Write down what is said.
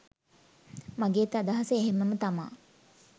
මගෙත් අදහස එහෙම්මම තමා.